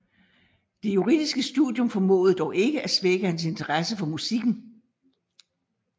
Det juridiske studium formåede dog ikke at svække hans interesse for musikken